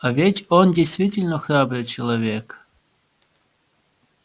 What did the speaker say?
а ведь он действительно храбрый человек